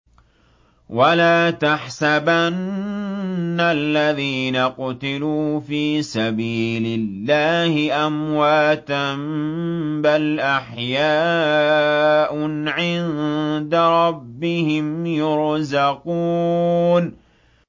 وَلَا تَحْسَبَنَّ الَّذِينَ قُتِلُوا فِي سَبِيلِ اللَّهِ أَمْوَاتًا ۚ بَلْ أَحْيَاءٌ عِندَ رَبِّهِمْ يُرْزَقُونَ